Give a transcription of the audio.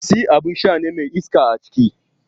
Pepsi abin sha ne mai iska aciki.